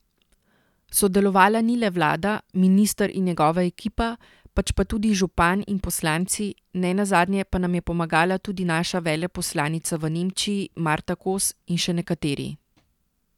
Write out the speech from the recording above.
Sodelovala ni le vlada, minister in njegova ekipa, pač pa tudi župan in poslanci, nenazadnje pa nam je pomagala tudi naša veleposlanica v Nemčiji Marta Kos in še nekateri.